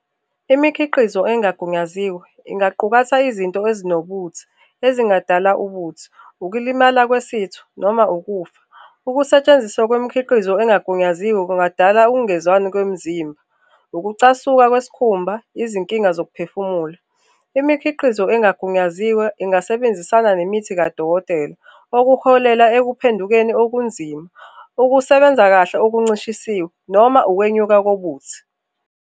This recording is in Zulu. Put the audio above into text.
Imikhiqizo engagunyaziwe ingaqukata izinto ezinobuthi ezingadalwa ubuthi, ukulimala kwesitho noma ukufa. Ukusetshenziswa kwemikhiqizo engagunyaziwe kungadala ukungezwani kwemzimba, ukucasuka kwesikhumba, izinkinga zokuphefumula. Imikhiqizo engagunyaziwe ingasebenzisana nemithi kadokotela okuholela ekuphendukeni okunzima okusebenza kahle okuncishisiwe noma ukwenyuka kokuthi